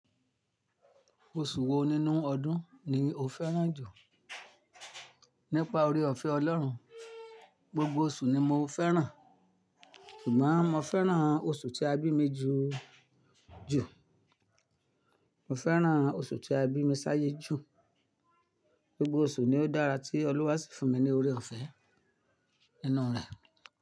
Oṣù wo nínú ọdún ni o fẹ́ràn jù? Nípa oore-ọ̀fẹ́ Ọlọ́run, gbogbo oṣù ni mo fẹ́ràn. Ṣùgbọ́n mo fẹ́ràn oṣù tí a bí mi jù jù. Mo fẹ́ràn oṣù tí a bí mi sáyé jù. Gbogbo oṣù ni ó dára tí Olúwa sì fún mi ní oore-ọ̀fẹ́ nínú rẹ̀.